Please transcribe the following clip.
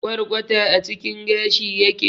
Kwarkwata a cikin gashi yake